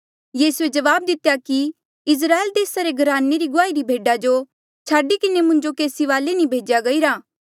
यीसूए जवाब दितेया कि इस्राएल देसा रे घराने री गुआहिरी भेडा जो छाडी किन्हें मुंजो केसी वाले नी भेज्या गईरा